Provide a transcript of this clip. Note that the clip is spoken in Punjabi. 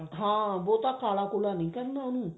ਹਾਂ ਬਹੁਤਾ ਕਾਲਾ ਕੁਲਾ ਨੀ ਕਰਨਾ ਉਹਨੂੰ